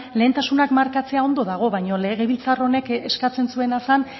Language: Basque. lehentasunak markatzea ondo dago baina legebiltzar honek eskatzen zuena zen